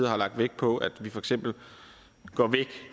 har lagt vægt på at vi for eksempel går væk